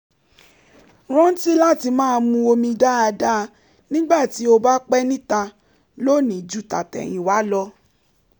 rántí láti máa mu omi dáadáa nígbà tí o bá pé níta lónìí ju tàtẹ̀yìnwá lọ